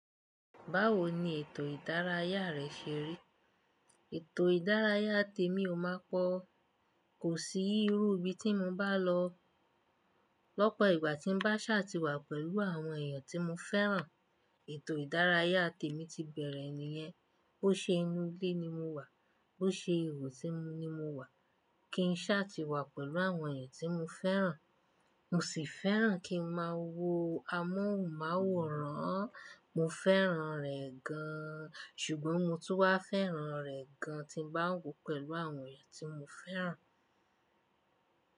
Báwo ni ètò ìdárayá rẹ ṣe rí? Ètò ìdárayá tèmi ò máa pọ̀, kò sí irú ibi tí mo bá lọ. Lọ́pọ̀ ìgbà tí n bá ṣà tìwà pẹ̀lú àwọn èèyàn tí mo fẹ́ràn, ètò ìdárayá tèmi ti bẹ̀rẹ̀ nìyẹn. Bó ṣe inú ilé ni mo wà, bó ṣe iṣẹ́ mi mo ní mo wà, kí n ṣà tìwà pẹ̀lú àwọn èèyàn tí mo fẹ́ràn. Mo sì fẹ́ràn kí n máa wo amóhùnmáwòrán. Mo fẹ́ràn rẹ̀ gan-an, ṣùgbọ́n mo tún wá fẹ́ràn rẹ̀ gan-an tí ń bá wo pẹ̀lú àwọn èèyàn tí mo fẹ́ràn.